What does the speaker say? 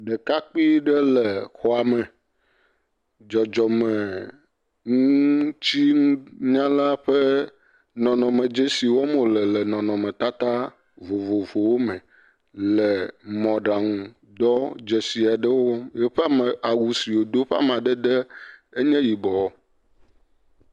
Ɖekakpui ɖe le xɔa me, dzɔdzɔme ŋutinunya ƒe dzesi wɔm wòle le nɔnɔmetata vovovowo me le mɔɖaŋudɔ dzesi aɖewo. Eƒe awu si wòdo ƒe amadede nye yibɔ.